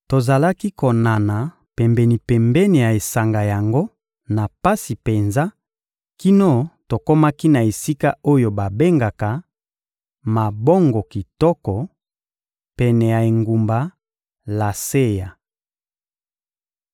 Tozalaki konana pembeni-pembeni ya esanga yango na pasi penza kino tokomaki na esika oyo babengaka «Mabongo kitoko,» pene ya engumba Laseya.